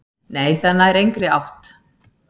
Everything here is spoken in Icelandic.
"""Nei, það nær engri átt."""